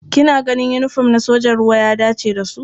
Kina ganin yinifom na sojojin ruwa ya dace da su?